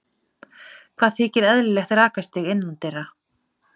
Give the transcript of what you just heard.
Hvað þykir eðlilegt rakastig innandyra?